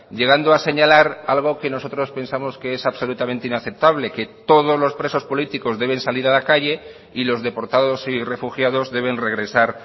llegando a señalar algo que nosotros pensamos que es absolutamente inaceptable que todos los presos políticos deben salir a la calle y los deportados y refugiados deben regresar